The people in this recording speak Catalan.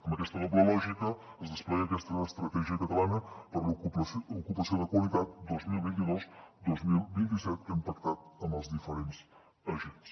amb aquesta doble lògica es desplega aquesta estratègia catalana per l’ocupació de qualitat dos mil vint dos dos mil vint set que hem pactat amb els diferents agents